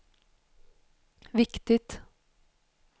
viktigt